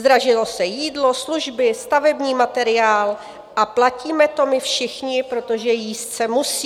Zdražilo se jídlo, služby, stavební materiál a platíme to my všichni, protože jíst se musí.